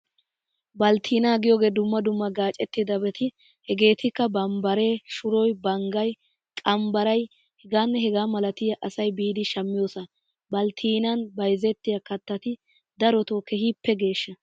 Balttinnaa giyogee dumma dumma gaacettidabati, hegeetikka bambbaree, shuroy, banggay, qambbaray h.h.m asay biidi shammiyosaa. Balttinnan bayzettiya kattati daroto keehippe geeshsha.